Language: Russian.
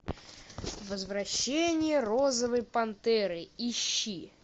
возвращение розовой пантеры ищи